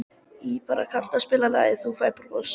Irpa, kanntu að spila lagið „Þú Færð Bros“?